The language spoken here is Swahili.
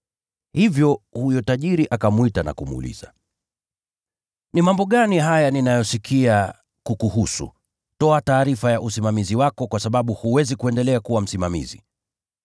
Hivyo huyo tajiri akamwita na kumuuliza, ‘Ni mambo gani haya ninayoyasikia kukuhusu? Toa taarifa ya usimamizi wako, kwa sababu huwezi kuendelea kuwa msimamizi.’